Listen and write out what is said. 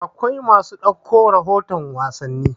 akwai masu ɗauko rahoton wasanni